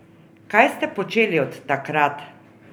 Kaj ste počeli od takrat?